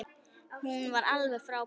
Hún var alveg frábær.